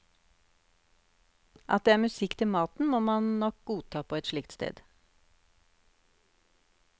At det er musikk til maten, må man nok godta på et slikt sted.